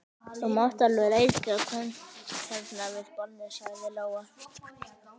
Þú mátt alveg reykja hérna við borðið, sagði Lóa.